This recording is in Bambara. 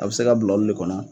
A bɛ se ka bila olu le kɔnɔ.